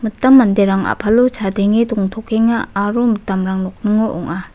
mitam manderang a·palo chadenge dongtokenga aro mitamrang nokningo ong·a.